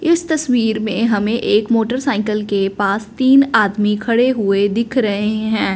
इस तस्वीर में हमें एक मोटरसाइकल के पास तीन आदमी खड़े हुए दिख रहे हैं।